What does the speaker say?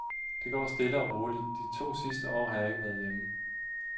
Det går stille og roligt, de to sidste år har jeg ikke været hjemme.